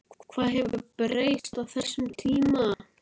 Hvað hefur breyst á þessum tíma?